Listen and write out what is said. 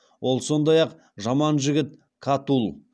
ол сондай ақ жаман жігіт катулл